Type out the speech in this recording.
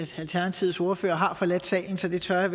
alternativets ordfører har forladt salen så det tør jeg